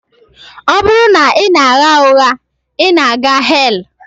Ọ bụrụ na ị na-agha ụgha, ị na-aga hell